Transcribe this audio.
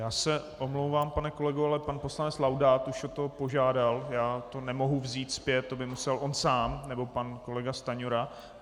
Já se omlouvám, pane kolego, ale pan poslanec Laudát už o to požádal, já to nemohu vzít zpět, to by musel on sám nebo pan kolega Stanjura.